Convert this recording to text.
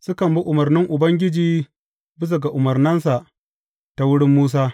Sukan bi umarnin Ubangiji, bisa ga umarninsa ta wurin Musa.